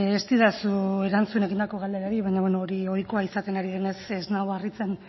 ez didazu erantzun egindako galderari baina hori ohikoa izaten ari denez ez nau harritzen